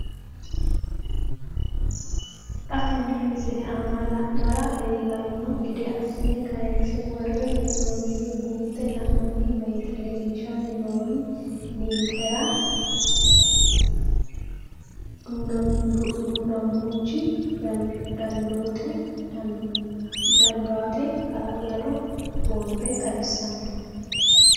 Xa tenne missile aana la'nara leellanno gede assine kayiinse worre hee'noonniri buunxe la'nanni woyiite leellishshanni noori ninkera du'namaanchu daadannota hala'lado boombe xawissanno.